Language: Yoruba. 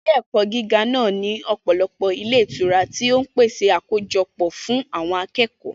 Ilé-ẹ̀kọ́ gíga náà ní ọ̀pọ̀lọpọ̀ ilé ìtura tí ó ń pèsè àkójọpọ̀ fún àwọn akẹ́kọ̀ọ́.